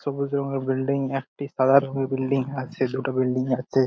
সবুজ রঙের বিল্ডিং । একটি সাদা রঙের বিল্ডিং আছে। দুটো বিল্ডিং আছে।